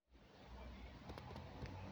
-